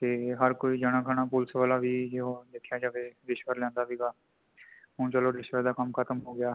ਤੈ ਹਰ ਕੋਈਂ ਜਣਾ ਖਣਾ ਪੁਲਸ ਵਾਲਾ ਵੀ ਜੇ ਉਹ ਦੇਖਿਆਂ ਜਾਏ ਤੇ ਰਿਸ਼ਵਤ ਲੈਂਦਾ ਸੀ ਗਾ, ਹੁਣ ਚਲੋ ਰਿਸ਼ਵਤ ਦਾ ਕੰਮ ਖ਼ਤਮ ਹੋ ਗਿਆ